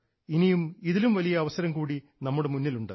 ഇനിയും ഇതിലും വലിയ അവസരം കൂടി നമ്മുടെ മുന്നിലുണ്ട്